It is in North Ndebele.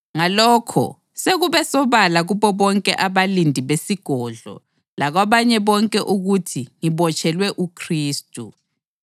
Ngalokho, sekube sobala kubo bonke abalindi besigodlo lakwabanye bonke ukuthi ngibotshelwe uKhristu.